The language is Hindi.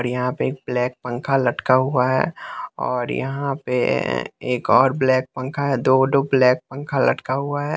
और यहाँ पे एक ब्लैक पंखा लटका हुआ है और यहाँ पे एक और ब्लैक पंखा है दो-दो ब्लैक पंखा लटका हुआ है।